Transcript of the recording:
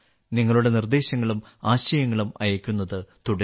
നിങ്ങളുടെ നിർദ്ദേശങ്ങളും ആശയങ്ങളും അയയ്ക്കുന്നത് തുടരുക